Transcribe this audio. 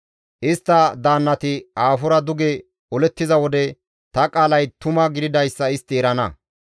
Istta daannati aafora duge olettiza wode ta qaalay tuma gididayssa istti erana.